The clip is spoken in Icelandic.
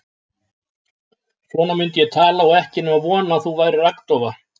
Svona myndi ég tala og ekki nema von að þú værir agndofa.